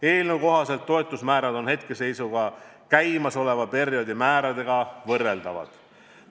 Eelnõukohased toetusmäärad on käimasoleva perioodi määradega võrreldavad.